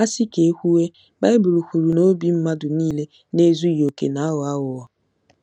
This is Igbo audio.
A sị ka e kwuwe, Baịbụl kwuru na obi mmadụ niile na-ezughị okè na-aghọ aghụghọ.